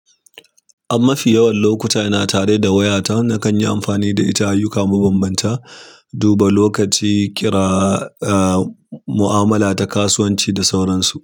Amma fi yawan lokuta ina tare da wayata na kan yi amfani da ita ayyuka mabambanta, duba lokaci, kira, a mu'amala da kasuwanci da sauransu.